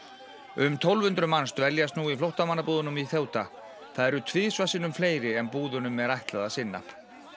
um tólf hundruð manns dvelja nú í flóttamannabúðunum í það eru tvisvar sinnum fleiri en búðunum er ætlað að sinna